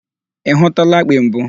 Ị hụtụla akpị mbụ?